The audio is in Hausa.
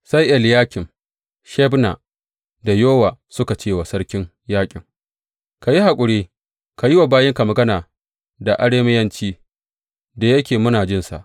Sai Eliyakim, Shebna da Yowa suka ce wa sarkin yaƙin, Ka yi haƙuri ka yi wa bayinka magana da Arameyanci, da yake muna jinsa.